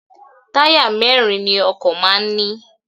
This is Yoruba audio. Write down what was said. Táyà mẹ́rin ni ọkọ̀ máa ń ní.